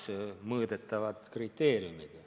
Need on mõõdetavad kriteeriumid.